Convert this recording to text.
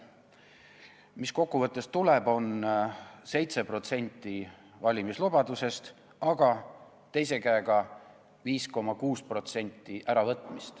Mis tuleb, on 7% valimislubadusest, aga teise käega võetakse 5,6% ära.